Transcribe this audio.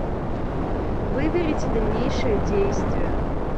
выберите дальнейшее действие